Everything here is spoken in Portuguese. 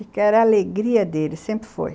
Era a alegria deles, sempre foi.